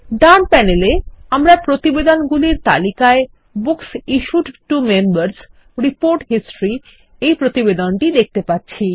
ডান panel এ আমরা প্রতিবেদন গুলির তালিকায়Books issued to Members report history এইপ্রতিবেদনটিদেখতে পাচ্ছি